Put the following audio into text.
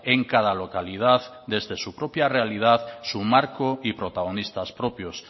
en cada localidad desde su propia realidad su marco y protagonistas propios